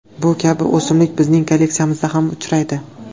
Bu kabi o‘simlik bizning kolleksiyamizda kam uchraydi.